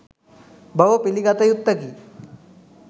බව පිළිගත යුත්තකි.